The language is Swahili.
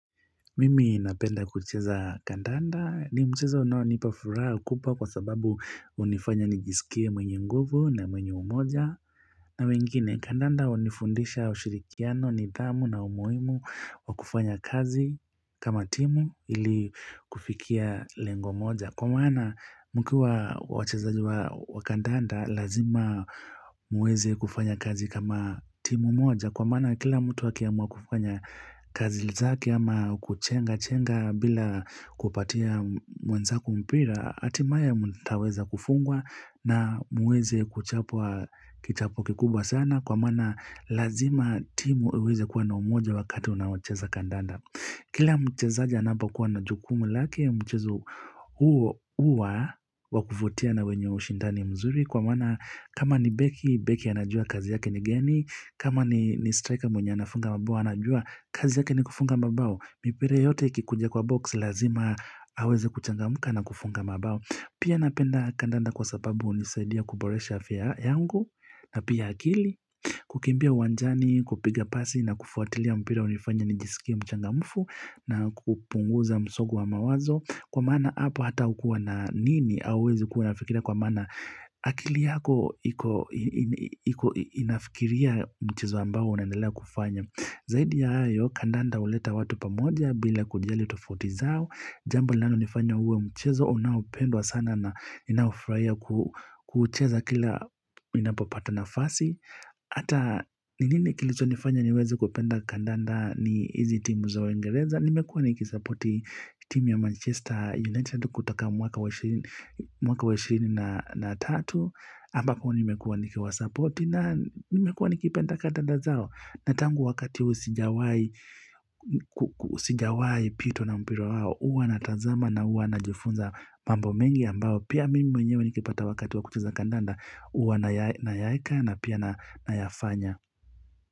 Mimi napenda kucheza kandanda ni mchezo unaonipa furaha kubwa kwa sababu hunifanya nijisikie mwenye nguvu na mwenye umoja. Na wengine kandanda hunifundisha ushirikiano nidhamu na umuhimu wa kufanya kazi kama timu ili kufikia lengo moja. Kwa maana mkiwa wachezaji wa kandanda lazima muweze kufanya kazi kama timu moja. Kwa maana kila mtu akiamua kufanya kazi zake ama kuchenga chenga bila kupatia mwenzako mpira. Hatimaye mtaweza kufungwa na muweze kuchapwa kichapo kikubwa sana. Kwa maana lazima timu iweze kuwa na umoja wakati wanaochezaji kandanda. Kila mchezaja anapo kuwa na jukumu lake mchezo huo huwa wakuvutia na wenye ushindani mzuri kwa maana kama ni beki, beki anajua kazi yake ni gani kama ni striker mwenye anafunga mabao anajua kazi yake ni kufunga mabao mipira yote ikikuja kwa box lazima aweze kuchangamuka na kufunga mabao Pia napenda kandanda kwa sababu hunisaidia kuboresha afya yangu na pia akili kukimbia uwanjani kupiga pasi na kufuatilia mpira hunifanya nijisikie mchangamfu na kupunguza msongo wa mawazo Kwa maana hapo hata hukua na nini auwezi kuwa unafikira kwa maana akili yako iko nafikiria mchezo ambao unandelea kufanya Zaidi ya hayo kandanda huleta watu pamoja bila kujali tofauti zao Jambo lanalo nifanya uwe mchezo, unaopendwa sana na ninaofurahia kucheza kila ninapopata nafasi. Ata ni nini kilicho nifanya niwezi kupenda kandanda ni hizi timu za Uingereza. Nimekuwa nikisapoti timu ya Manchester United kutoka mwaka 23. Ambapo nimekuwa nikiwasapoti na nimekuwa nikipenda kandanda zao. Natangu wakati huo sijawai pitwa na mpira wao huwa na tazama na huwa najifunza mambo mengi ambao Pia mimi mwenyewe nikipata wakati wa kucheza kandanda huwa nayaeka na pia nayafanya.